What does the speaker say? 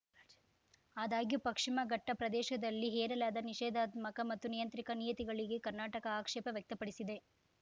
ಆದಾಗ್ಯೂ ಪಕ್ಷಿಮ ಘಟ್ಟಪ್ರದೇಶದಲ್ಲಿ ಹೇರಲಾದ ನಿಷೇಧಾತ್ಮಕ ಮತ್ತು ನಿಯಂತ್ರಿಕ ನೀತಿಗಳಿಗೆ ಕರ್ನಾಟಕ ಆಕ್ಷೇಪ ವ್ಯಕ್ತಪಡಿಸಿದೆ